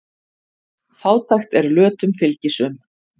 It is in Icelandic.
Fátækt er lötum fylgisöm.